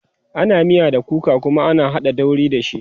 ana miya da kuka Kuma ana haɗa dauri da shi